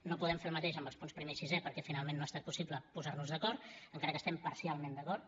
no podem fer el mateix amb els punts primer i sisè perquè finalment no ha estat possible posar nos d’acord encara que hi estem parcialment d’acord